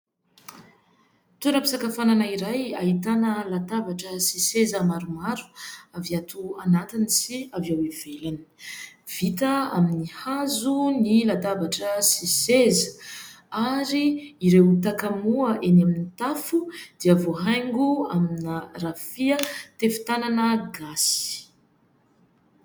Toeram-pisakafoanana iray ahitana latabatra sy seza maromaro avy ato anatiny sy avy ao ivelany, vita amin'ny hazo ny latabatra sy seza ary ireo takamoa eny amin'ny tafo dia voahaingo amina-rafia tefitanana gasy.